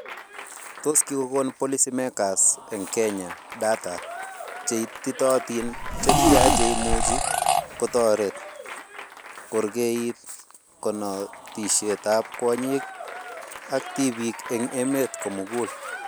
Tos kikokon policymakers eng kenya data che ititootin che tia cheimuchi kotoret korkeit konetishetab kwonyiik ak tibiik eng emet komugul